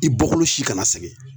I bɔkolo si kana sɛgɛn.